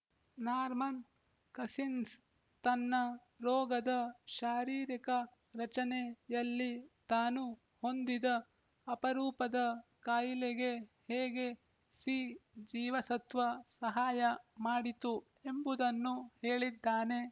Norman Cousins ತನ್ನ ರೋಗದ ಶಾರೀರಿಕ ರಚನೆ ಯಲ್ಲಿ ತಾನು ಹೊಂದಿದ ಅಪರೂಪದ ಕಾಯಿಲೆಗೆ ಹೇಗೆ ಸಿ ಜೀವಸತ್ವ ಸಹಾಯ ಮಾಡಿತು ಎಂಬುದನ್ನು ಹೇಳಿದ್ದಾನೆ